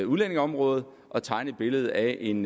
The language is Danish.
udlændingeområdet at tegne et billede af en